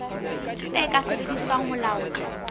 tse ka sebediswang ho laola